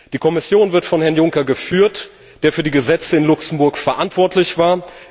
Die Kommission wird von Herrn Juncker geführt, der für die Gesetze in Luxemburg verantwortlich war.